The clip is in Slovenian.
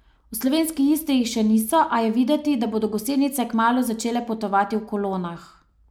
V slovenski Istri jih še niso, a je videti, da bodo gosenice kmalu začele potovati v kolonah.